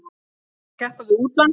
Björn: Þú ert að keppa við útlönd?